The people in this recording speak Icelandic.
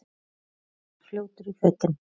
Drengur var fljótur í fötin.